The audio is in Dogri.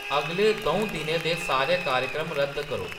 अगले दौं दिनें दे सारे कार्यक्रम रद्द करो